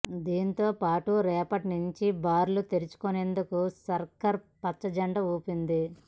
దీనితో పాటు రేపటి నుంచి బార్లు తెరుచుకునేందుకు సర్కార్ పచ్చజెండా ఊపింది